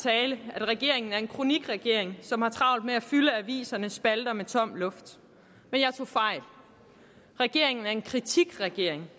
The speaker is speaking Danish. at regeringen er en kronikregering som har travlt med at fylde avisernes spalter med tom luft men jeg tog fejl regeringen er en kritikregering